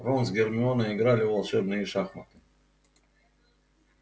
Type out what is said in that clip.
рон с гермионой играли в волшебные шахматы